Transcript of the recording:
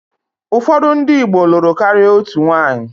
Ụfọdụ ndị Igbo lụrụ karịa otu nwaanyị.